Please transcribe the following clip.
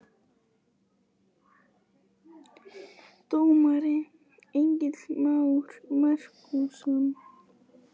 Dómari: Egill Már Markússon